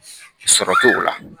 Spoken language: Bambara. Sɔrɔ t'o la